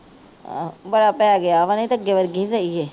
ਆਹੋ ਬੜਾ ਪੈ ਗਿਆ ਵਾ। ਨਹੀ ਤਾਂ ਅੱਗੇ ਵਰਗੀ ਨਹੀ ਰਹੀ ਏ।